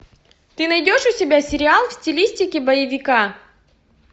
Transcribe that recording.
ты найдешь у себя сериал в стилистике боевика